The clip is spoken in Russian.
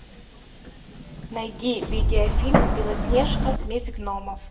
найди видеофильм белоснежка месть гномов